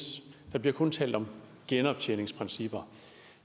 der bliver kun talt om genoptjeningsprincipper